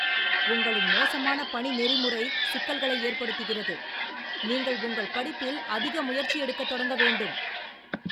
உங்களின் மோசமான பணி நெறிமுறை சிக்கல்களை ஏற்படுத்துகிறது, நீங்கள் உங்கள் படிப்பில் அதிக முயற்சி எடுக்கத் தொடங்க வேண்டும்.